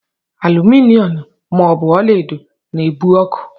Aluminom ma ọ bụ ọlaedo na-ebu ọkụ.